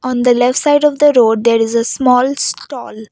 on the left side of the road there is a small stall.